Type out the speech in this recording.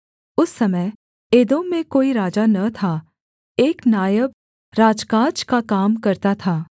उस समय एदोम में कोई राजा न था एक नायब राजकाज का काम करता था